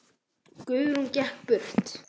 Guðrún gekk burt.